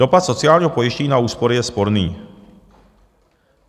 Dopad sociálního pojištění na úspory je sporný.